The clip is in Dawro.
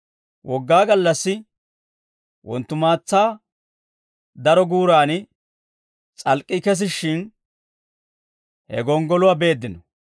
Wogaa gallassi wonttumaatsa daro guuran s'alk'k'ii kesishshin, he gonggoluwaa beeddino.